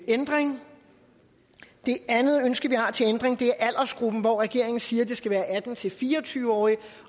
ændring det andet ønske vi har til ændring er aldersgruppen regeringen siger at det skal være atten til fire og tyve årige